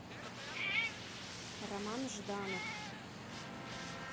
роман жданов